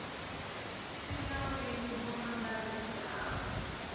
si na wili ho ambarelaho